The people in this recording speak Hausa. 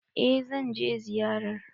Eh zan je ziyarar.